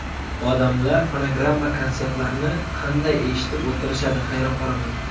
Odamlar fonogramma-konsertlarni qanday eshitib o‘tirishadi, hayron qolaman.